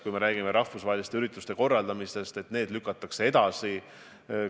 Kui me räägime rahvusvaheliste ürituste korraldamisest, siis need tuleks edasi lükata.